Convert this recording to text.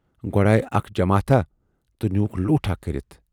گۅڈٕ آیہِ اکھ جماتھاہ تہٕ نیٖوٗکھ لوٗٹاہ کٔرِتھ۔